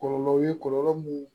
Kɔlɔlɔw ye kɔlɔlɔ mun